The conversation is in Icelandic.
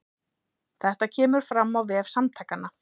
Þetta kemur fram á vef Samtakanna